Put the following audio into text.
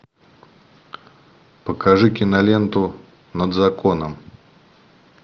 покажи киноленту над законом